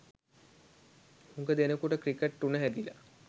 හුඟ දෙනෙකුට ක්‍රිකට් උන හැදිල.